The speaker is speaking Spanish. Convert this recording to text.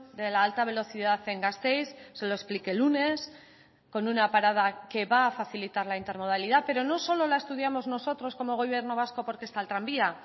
de la alta velocidad en gasteiz se lo expliqué el lunes con una parada que va a facilitar la intermodalidad pero no solo la estudiamos nosotros como gobierno vasco porque está el tranvía